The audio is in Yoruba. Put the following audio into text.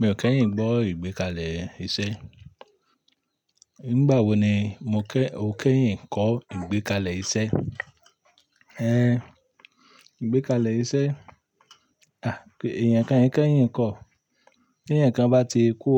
Mi ò kẹ́yìn gbọ́ ìgbékalẹ̀ iṣẹ́. Nígbà wo ni mo kẹ́, o kẹ́yìn kọ́ ìgbékalẹ̀ iṣẹ́? Ehn, ìgbékalẹ̀ iṣẹ́? À, èèyàn kan e kẹ́yìn kọ́. Tí ẹyan bá ti kú,